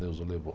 Deus o levou.